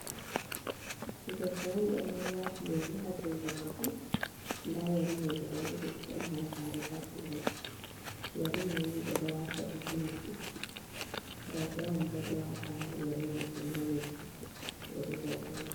Debbo on ɗo vuuwa, waati "yari" ha junngo maako, ndaa "yari" may gudaa ɗiɗi, ɗon halagaare bo ha junngo maako. "Yari" may ni ɓe ɗo waata ɗum ha noppi, rowbe on bo ɗo waata "yari" maajum ha noppi, "yari" rowɓe on.